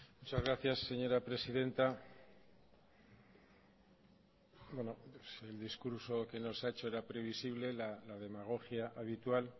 muchas gracias señora presidenta el discurso que nos ha hecho era previsible la demagogia habitual